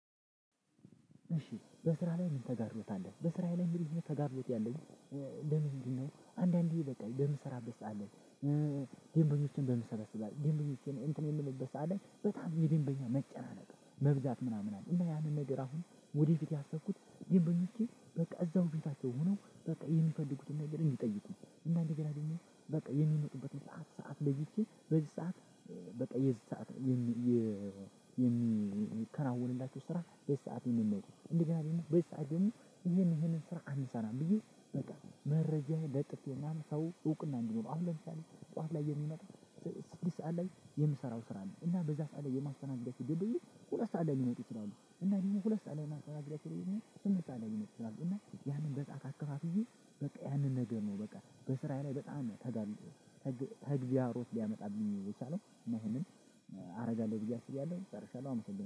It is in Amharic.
እሺ በስራ ላይ ምን ተጋርዶት አለ? በስራ ላይ ምን ተጋርዶት ያለኝ? ለምንድነው አንዳንዴ በቃ ለምሰራበት ሰዓትን ላይ ደንበኞችን በምሰበሰበት ድንበኞች እንትን የምልበት ሰዓት ላይ በጣም የደንበኛ መጨናነቅ መብዛት ምናምን አለ። እና ያንን ነገር አሁን ወደፊት ያሰብኩት ይሄን በሚልቼ በቃ እዛው ፊታቸውም ሆኖ በቃ የሚፈልጉትን ነገር እንዲጠይቁኝ እና እንደገና ደግሞ በቃ የሚመጡበትን ሰዓት ለይቼ በዚህ ሰዓት በቃ የዚህ ሰዓት የሚከናወንላችሁ ስራ በዚህ ሰዓት ይሄንን ነው። እንደገና ደግሞ በዚህ ሰዓት ደግሞ ይሄን ይሄን ስራ አንሰራም ብዬ በቃ መረጃ ለጥፌና ሰው እውቅና እንዲኖረው አሁን ለምሳሌ ጠዋት ላይ የሚመጣ ስድስት ሰዓት ላይ የምሰራው ስራ አለ። እና በዛ ሰዓት ላይ የማስተናግዳቸው ደንበኞች ሁለት ሰዓት ላይ ሊመጡ ይችላሉ እና ይሄን ሁለት ሰዓት አለመጣጥረት አለመጡ ይችላሉ። እና ያንን በጣት አከፋፍዬ በቃ ያንን ነገር ነው። በቃ በስራ ላይ በጣም ተጋልጦ ተግቢያሮት ሊያመጣብኝ የቻለው እና ይሄንን አደርጋለሁ ብየ አስቤያለሁ ጨርሻለሁ አመሰግናለሁ